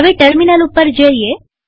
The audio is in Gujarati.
હવે ટર્મિનલ ઉપર જઈએ